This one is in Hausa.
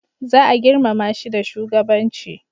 za a girmama shi da shugabanci